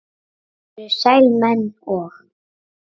þetta eru sælir menn og